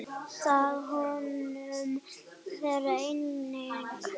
Það unnu þeir einnig.